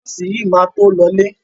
Nọ́ọ̀sì yìí máa to lọọ́lé.